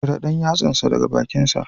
Cire ɗan yatsansa daga bakinsa